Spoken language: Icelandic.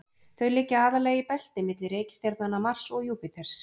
þau liggja aðallega í belti milli reikistjarnanna mars og júpíters